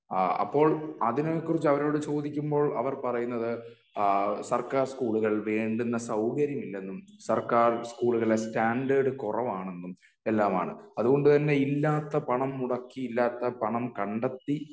അപ്പോൾ അതിനെക്കുറിച്ചു അവരോട് ചോദിക്കുമ്പോൾ അവർ പറയുന്നത് അഹ് സർക്കാർ സ്കൂളുകൾ വേണ്ടുന്ന സൗകര്യം ഇല്ലെന്നും സർക്കാർ സ്കൂളുകളുടെ സ്റ്റാൻഡേർഡ് കുറവാണെന്നും എല്ലാമാണ് അതുകൊണ്ടുതന്നെ ഇല്ലാത്ത പണം മുടക്കി ഇല്ലാത്ത പണം കണ്ടെത്തി